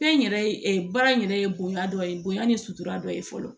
Fɛn yɛrɛ baara in yɛrɛ ye bonya dɔ ye bonya ni sutura dɔ ye fɔlɔ